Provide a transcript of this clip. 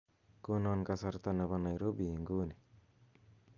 konon kasarta nepo nairobi inguni